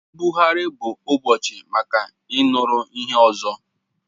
Mbuagharị bụ ụbọchị maka ịnụrụ ihe ọzọ